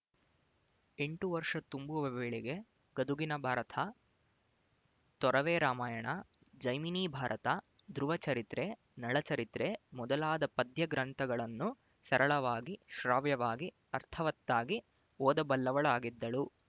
ಎಂಟು ವರ್ಷ ತುಂಬುವ ವೇಳೆಗೆ ಗದುಗಿನ ಭಾರತ ತೊರವೆರಾಮಾಯಣ ಜೈಮಿನಿ ಭಾರತ ಧ್ರುವಚರಿತ್ರೆ ನಳಚರಿತ್ರೆ ಮೊದಲಾದ ಪದ್ಯಗ್ರಂಥಗಳನ್ನು ಸರಳವಾಗಿ ಶ್ರಾವ್ಯವಾಗಿ ಅರ್ಥವತ್ತಾಗಿ ಓದಬಲ್ಲವಳಾಗಿದ್ದಳು